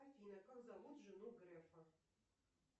афина как зовут жену грефа